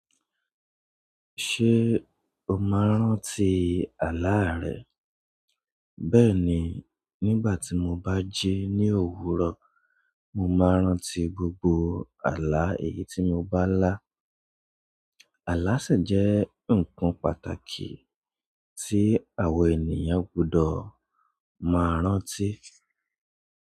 Ṣé o máa ń rántí àlá rẹ? Bẹ́ẹ̀ni, nígbà tí mo bá jí ní òwúrọ̀, mo máa ń rántí gbogbo àlá èyí tí mo bá lá. Àlá sì jẹ́ ǹkan pàtàkì tí àwa ènìyàn gbọdọ̀ máa ń rántí.